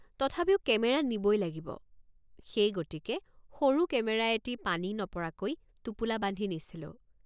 তথাপিও কেমেৰা নিবই লাগিব সেই গতিকে সৰু কেমেৰা এটি পানী নপৰাকৈ টোপোলা বান্ধি নিছিলোঁ।